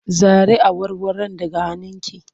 Zare awarwaron daga hannunki!